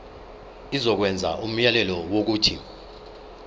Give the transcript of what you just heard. izokwenza umyalelo wokuthi